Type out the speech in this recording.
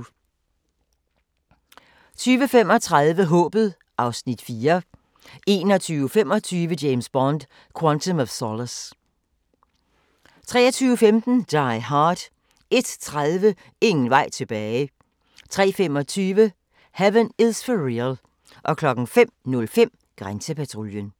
20:35: Håbet (Afs. 4) 21:25: James Bond: Quantum of Solace 23:15: Die Hard 01:30: Ingen vej tilbage 03:25: Heaven is for Real 05:05: Grænsepatruljen